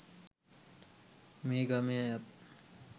මේ ගමේ අයත්